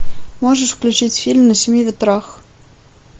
можешь включить фильм на семи ветрах